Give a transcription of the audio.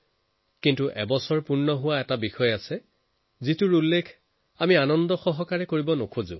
কিন্তু এনেকুৱা এটা কথাৰো এবছৰ হৈ আছে যাক আমি কেতিয়াও আনন্দেৰে মনত নেপেলাম